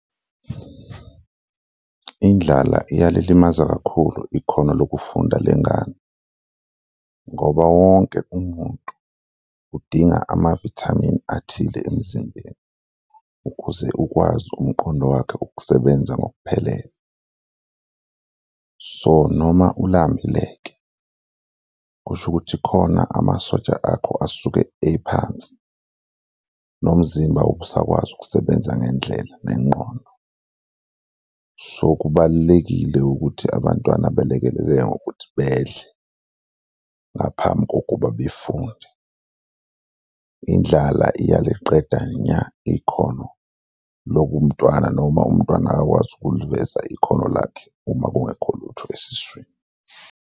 Indlala iyalilimaza kakhulu ikhono lokufunda lengane ngoba wonke umuntu udinga amavithamini athile emzimbeni ukuze ukwazi umqondo wakhe ukusebenza ngokuphelele. So noma ulambile-ke, kusho ukuthi khona amasotsha akho asuke ephansi nomzimba awube usakwazi ukusebenza ngendlela nengqondo, so kubalulekile ukuthi abantwana belekeleleke ngokuthi bedle ngaphambi kokuba befunde, indlala iyaliqeda nya ikhono lokumntwana noma umntwana akakwazi ukuliveza ikhono lakhe uma kungekho lutho esiswini.